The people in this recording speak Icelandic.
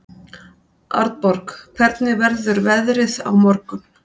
Arnborg, hvernig verður veðrið á morgun?